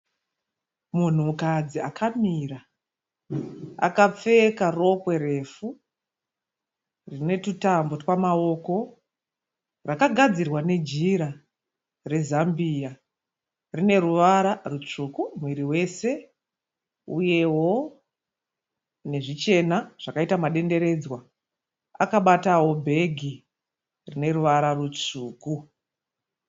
Munhukadzi akamira akapfeka rokwe refu rine tutambo twamaoko. Rakagadzirwa nejira rezambiya. Rine ruvara rutsvuku muviri wese uyewo nezvichena zvakaita madenderedzwa. Akabatawo bhegi rine ruvara rutsvuku.